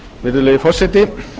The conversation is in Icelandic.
virðulegi forseti ég